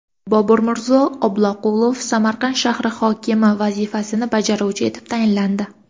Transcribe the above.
Boburmirzo Oblaqulov Samarqand shahri hokimi vazifasini bajaruvchi etib tayinlandi.